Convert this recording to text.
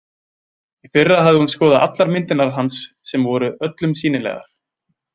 Í fyrra hafði hún skoðað allar myndirnar hans sem voru öllum sýnilegar.